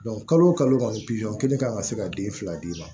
kalo o kalo kɔni kelen kan ka se ka den fila d'i ma